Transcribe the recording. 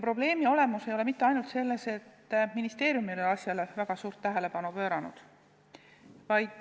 Probleemi olemus ei ole mitte ainult selles, et ministeerium ei ole sellele väga suurt tähelepanu pööranud.